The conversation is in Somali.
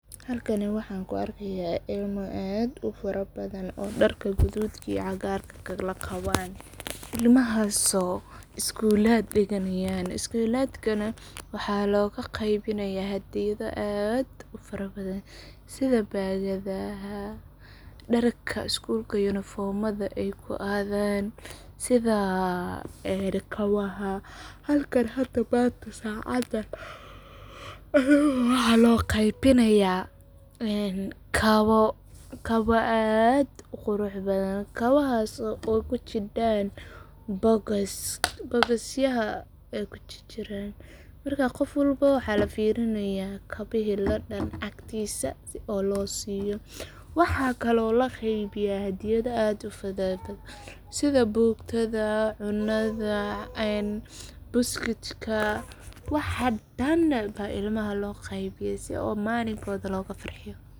Halkan waxan ku arkaya ilmo aad u fara badhan oo darka gududhka iyo cagarka kala qawo. Horumarka waxbarashada iyo tiknoolajiyadda waa laba arrimood oo si gaar ah isugu xiran, kuwaas oo door weyn ka ciyaaraya kobcinta aqoonta, kor u qaadista fursadaha nololeed, iyo dardargelinta horumarka bulshada. Teknoolajiyadda casriga ah sida kumbuyuutarrada, internet-ka, iyo aaladaha moobilka ayaa wax ka beddelay habka waxbarasho ee dhaqameed, iyadoo ardaydu ay hadda heli karaan macluumaad tiro badan oo kala duwan, si sahlanna ay u wadaagi karaan aqoon iyo khibrad. Waxa kale oo tiknoolajiyaddu fududeysay helitaanka waxbarashada meel kasta oo adduunka ah, iyadoo la adeegsanayo barnaamijyo online ah, manhajyo elektaroonig ah, iyo tababaro fogaan arag ah. Sidoo kale, teknoolajiyaddu waxay gacan ka geysatay tayaynta hababka maamulka ee dugsiyada iyo jaamacadaha, iyadoo la adeegsado nidaamyo casri ah oo diiwaangelin iyo qiimeyn ah.